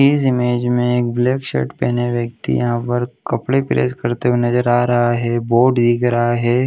इस इमेज में एक ब्लैक शर्ट पहने हुए व्यक्ति यहाँ पर कपड़े प्रेस करते हुए नज़र आ रहा है बोर्ड दिख रहा है।